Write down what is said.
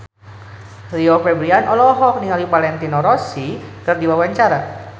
Rio Febrian olohok ningali Valentino Rossi keur diwawancara